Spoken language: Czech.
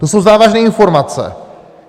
To jsou závažné informace!